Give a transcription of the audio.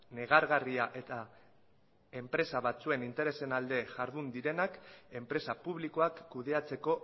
negargarria eta enpresa batzuen interesen alde jardun direnak enpresa publikoak kudeatzeko